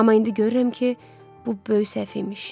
Amma indi görürəm ki, bu böyük səhv imiş.